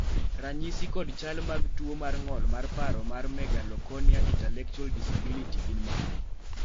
ranyisi kod chal mag tuo mar ng'ol mar paro mar Megalocornea intellectual disability gin mage?